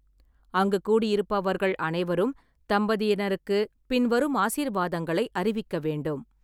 அங்கு கூடியிருப்பவர்கள் அனைவரும் தம்பதியினருக்கு பின்வரும் ஆசீர்வாதங்களை அறிவிக்க வேண்டும்.